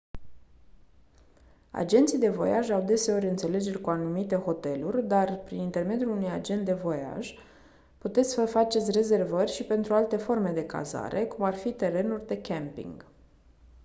agenții de voiaj au deseori înțelegeri cu anumite hoteluri dar prin intermediul unui agent de voiaj puteți să faceți rezervări și pentru alte forme de cazare cum ar fi terenuri de camping